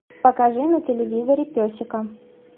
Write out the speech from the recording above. покажи на телевизоре песика